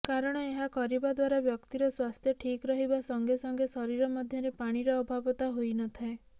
କାରଣ ଏହା କରିବା ଦ୍ୱାରା ବ୍ୟକ୍ତିିର ସ୍ୱାସ୍ଥ୍ୟ ଠିକ୍ ରହିବା ସଂଗେସଂଗେ ଶରୀର ମଧ୍ୟରେ ପାଣିର ଅଭାବତା ହୋଇନଥାଏ